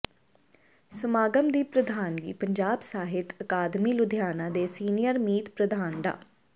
ਸਮਾਗਮ ਦੀ ਪ੍ਰਧਾਨਗੀ ਪੰਜਾਬੀ ਸਾਹਿਤ ਅਕਾਦਮੀ ਲੁਧਿਆਣਾ ਦੇ ਸੀਨੀਅਰ ਮੀਤ ਪ੍ਰਧਾਨ ਡਾ